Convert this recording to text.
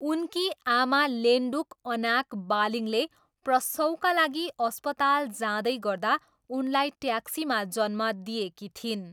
उनकी आमा लेन्डुक अनाक बालिङले प्रसवका लागि अस्पताल जाँदै गर्दा उनलाई ट्याक्सीमा जन्म दिएकी थिइन्।